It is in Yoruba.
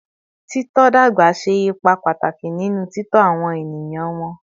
Tito dagba ṣe ipa pataki ninu titọ awọn eniyan wọn